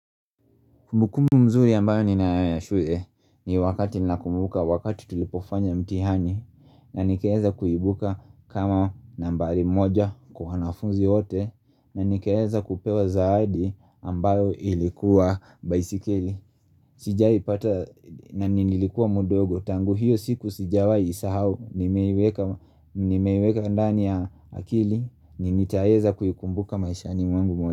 Kumbukumbu nzuri ambayo nina yashue ni wakati nina kumbuka wakati tulipofanya mtihani na nikaweza kuibuka kama nambari moja kwa wanafunzi wote na nikaeza kupewa zaidi ambayo ilikuwa baisikeli Sijaipata na nilikuwa mdogo tangu hiyo siku sijawai nisahau Nimeiweka ndani ya akili nitaweza kuikumbuka maishani mwangu mwote.